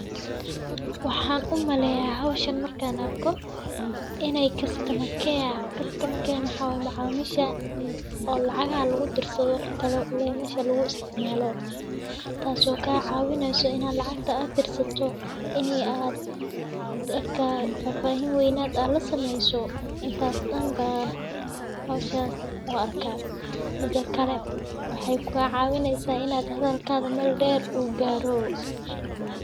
Waxaan u maleyaa hawshana markan arko inay customer care, kastama keema xawaan macaamishah oo lacaga lagu dirso talo leh masha laguu isticmaaloo. Taasoo kaa caawineysaa in lacagta aad dirsto inee aad dadka fafahin waynaada la sameyso intaas danbaan. Hawshahaas oo arka midka kale waxay kuu caawineysaa inaad hadalkaada mal dher uu garo.